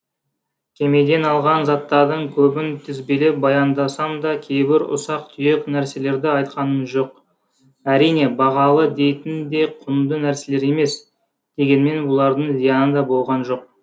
кемеден алған заттардың көбін тізбелеп баяндасам да кейбір ұсақ түйек нәрселерді айтқаным жоқ әрине бағалы дейтін де құнды нәрселер емес дегенмен бұлардың зияны да болған жоқ